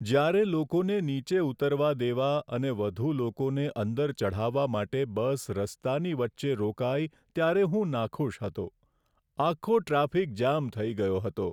જ્યારે લોકોને નીચે ઉતરવા દેવા અને વધુ લોકોને અંદર ચઢાવવા માટે બસ રસ્તાની વચ્ચે રોકાઈ ત્યારે હું નાખુશ હતો. આખો ટ્રાફિક જામ થઈ ગયો હતો.